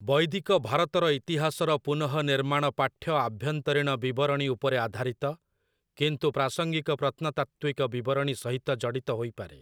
ବୈଦିକ ଭାରତର ଇତିହାସର ପୁନଃନିର୍ମାଣ ପାଠ୍ୟ ଆଭ୍ୟନ୍ତରୀଣ ବିବରଣୀ ଉପରେ ଆଧାରିତ, କିନ୍ତୁ ପ୍ରାସଙ୍ଗିକ ପ୍ରତ୍ନତାତ୍ତ୍ୱିକ ବିବରଣୀ ସହିତ ଜଡ଼ିତ ହୋଇପାରେ ।